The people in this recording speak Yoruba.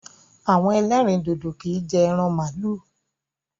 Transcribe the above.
Àwọn ẹlẹ́rìndòdò kì í jẹ ẹran màlúù